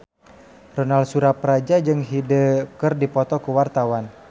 Ronal Surapradja jeung Hyde keur dipoto ku wartawan